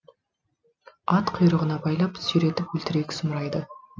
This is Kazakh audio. ат құйрығына байлап сүйретіп өлтірейік сұмырайды